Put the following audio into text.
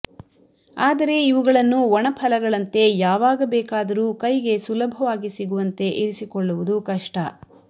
ಆದರೆ ಇವುಗಳನ್ನು ಒಣಫಲಗಳಂತೆ ಯಾವಾಗ ಬೇಕಾದರೂ ಕೈಗೆ ಸುಲಭವಾಗಿ ಸಿಗುವಂತೆ ಇರಿಸಿಕೊಳ್ಳುವುದು ಕಷ್ಟ